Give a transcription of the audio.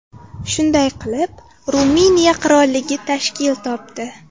Shunday qilib Ruminiya qirolligi tashkil topdi.